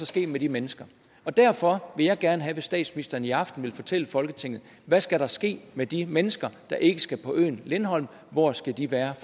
ske med de mennesker derfor vil jeg gerne have at statsministeren i aften vil fortælle folketinget hvad skal der ske med de mennesker der ikke skal være på øen lindholm hvor skal de være